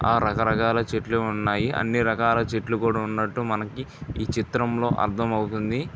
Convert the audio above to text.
ఆ రకా రకాల చెట్లు ఉన్నాయి అన్ని రకాల చెట్లు కూడా ఉన్నటు మనకి ఈ చిత్రంలో అర్ధమవుతుంది.